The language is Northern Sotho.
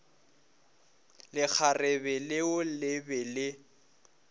lekgarebe leo le be le